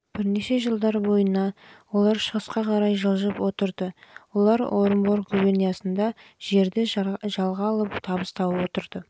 бірнеше жылдар бойына олар шығысқа қарай жылжып отырды олар орынбор губерниясында жерді жалға алып табыс тауып